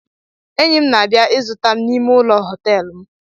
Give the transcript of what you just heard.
Enyi m na-abịa ịzụta m n’ime ụlọ họtelụ m